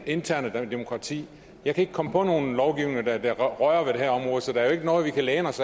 interne demokrati jeg kan ikke komme på nogen lovgivninger der rører ved det her område så der er jo ikke noget vi kan læne os